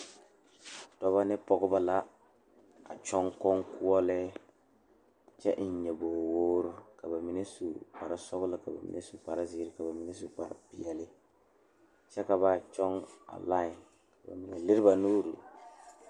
Dɔɔba ne pɔgeba la a kyɔŋ koɔkoɔlee kyɛ eŋ nyabore woɔre ka bamine su kpare sɔglɔ ka bamine su kpare ziiri ka bamine su kpare peɛle kyɛ ka ba kyɔŋ a lae ka bamine leri ba nuure.